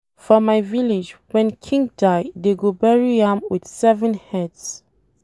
For my village wen King die dey go bury am with seven heads